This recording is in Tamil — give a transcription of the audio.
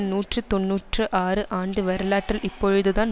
நூற்றி தொன்னூற்று ஆறு ஆண்டு வரலாற்றில் இப்பொழுதுதான்